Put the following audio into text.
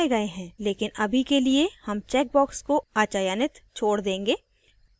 लेकिन अभी के लिए हम चेकबॉक्स को अचयनित छोड़ देंगे